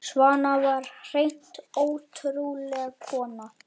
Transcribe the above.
Svana var hreint ótrúleg kona.